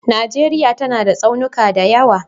Najeriya tana da tsaunuka da yawa